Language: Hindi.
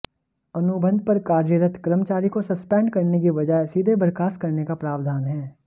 अनुबंध पर कार्यरत कर्मचारी को सस्पेंड करने की बजाय सीधे बर्खास्त करने का प्रावधान है